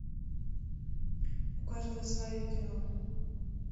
у каждого свое кино